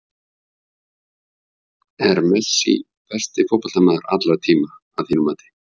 Er Messi besti fótboltamaður allra tíma að þínu mati?